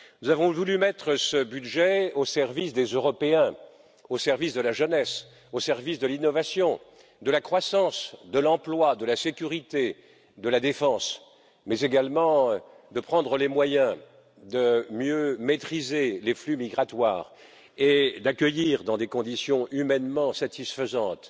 Nous avons voulu mettre ce budget au service des Européens, au service de la jeunesse, au service de l'innovation, de la croissance, de l'emploi, de la sécurité, de la défense, mais nous avons voulu également nous donner les moyens de mieux maîtriser les flux migratoires et d'accueillir dans des conditions humainement satisfaisantes